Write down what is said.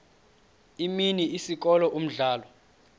imini isikolo umdlalo